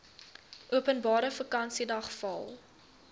openbare vakansiedag val